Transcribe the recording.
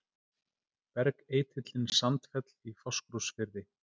Bergeitillinn Sandfell í Fáskrúðsfirði.